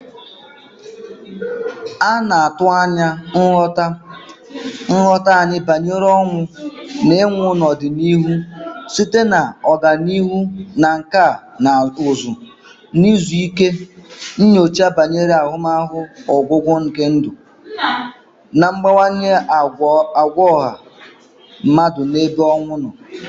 A na-atụ anya nghọta anyị banyere ọnwụ na ịnwụ n'ọdịnihu site na ọganihu na nkà na ụzụ ahụike, nyocha banyere ahụmahụ ọgwụgwụ nke ndụ, na mgbanwe àgwà ọha mmadụ n'ebe ọnwụ nọ